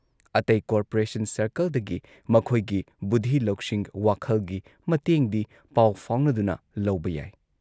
ꯑꯇꯩ ꯀꯣꯔꯄꯣꯔꯦꯁꯟ ꯁꯔꯀꯜꯗꯒꯤ ꯃꯈꯣꯏꯒꯤ ꯕꯨꯙꯤ ꯂꯧꯁꯤꯡ, ꯋꯥꯈꯜꯒꯤ ꯃꯇꯦꯡꯗꯤ ꯄꯥꯎ ꯐꯥꯎꯅꯗꯨꯅ ꯂꯧꯕ ꯌꯥꯏ ꯫